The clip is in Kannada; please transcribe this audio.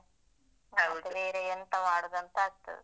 ಮತ್ತೆ ಬೇರೆ ಎಂತ ಮಾಡುದಂತ ಆಗ್ತದೆ.